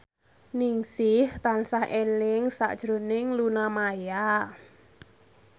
Ningsih tansah eling sakjroning Luna Maya